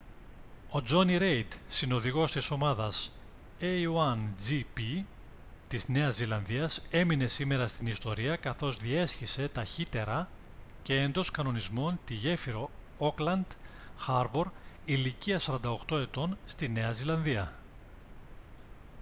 ο τζόνι ρέιντ συνοδηγός της ομάδας a1gp της νέας ζηλανδίας έμεινε σήμερα στην ιστορία καθώς διέσχισε ταχύτερα και εντός κανονισμών τη γέφυρα ώκλαντ χάρμπορ ηλικίας 48 ετών στη νέα ζηλανδία